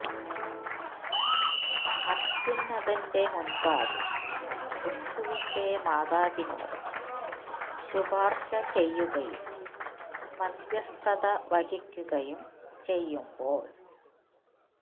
അത്യുന്നതന്റെ മുമ്പാകെ ക്രിസ്തുവിന്റെ മാതാവിനോട് ശുപാർശ ചെയ്യുകയും മധ്യസ്ഥത വഹിക്കുകയും ചെയ്യുമ്പോൾ